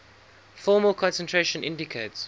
formal concentration indicates